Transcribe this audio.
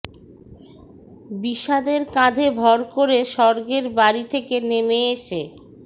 বিষাদের কাঁধে ভর করে স্বর্গের বাড়ি থেকে নেমে এসে